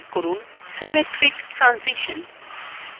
click করুন symmetric transition